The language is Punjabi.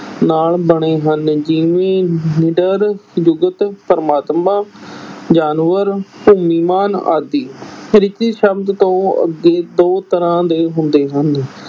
ਨਾਲ ਬਣੇ ਹਨ, ਜਿਵੇਂ ਡਰ, ਜਗਤ, ਪ੍ਰਮਾਤਮਾ, ਜਾਨਵਰ, ਭੂਮੀਮਾਨ ਆਦਿ ਸ਼ਬਦ ਤੋਂ ਅੱਗੇ ਦੋ ਤਰ੍ਹਾਂ ਦੇ ਹੁੰਦੇ ਹਨ।